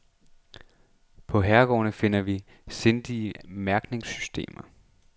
På herregårde finder vi sindrige mærkningssystemer.